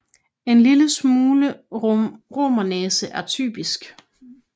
En lille smule romernæse er typisk